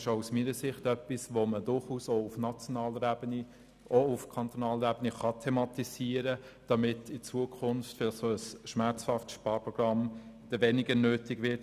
Auch aus meiner Sicht können diese Aspekte durchaus auf nationaler und kantonaler Ebene thematisiert werden, damit in Zukunft weniger solche schmerzhafte Sparprogramme nötig sind.